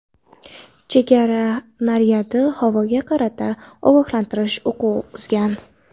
Chegara naryadi havoga qarata ogohlantirish o‘qi uzgan.